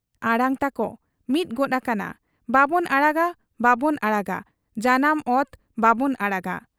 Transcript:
ᱟᱲᱟᱝ ᱛᱟᱠᱚ ᱢᱤᱫ ᱜᱚᱫ ᱟᱠᱟᱱᱟ 'ᱵᱟᱵᱚᱱ ᱟᱲᱟᱜᱟ ᱵᱟᱵᱚᱱ ᱟᱲᱟᱜᱟ, ᱡᱟᱱᱟᱢ ᱚᱛ ᱵᱟᱵᱚᱱ ᱟᱲᱟᱜᱟ ᱾